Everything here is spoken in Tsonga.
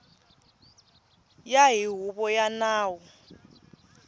ya hi huvo ya nawu